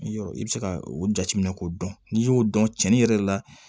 Yɔrɔ i bɛ se ka o jateminɛ k'o dɔn n'i y'o dɔn cɛnin yɛrɛ la